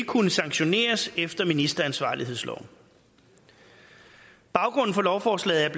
kunne sanktioneres efter ministeransvarlighedsloven baggrunden for lovforslaget